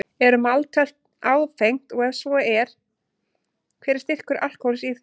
Er maltöl áfengt og ef svo er, hver er styrkur alkóhóls í því?